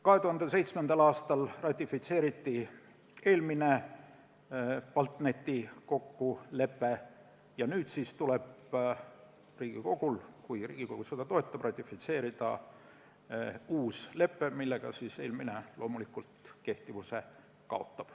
2007. aastal ratifitseeriti eelmine BALTNET-i kokkulepe ja nüüd siis tuleb Riigikogul, kui Riigikogu seda toetab, ratifitseerida uus lepe, millega eelmine kaotab kehtivuse.